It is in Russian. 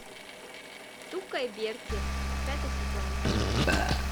тука и берти пятый сезон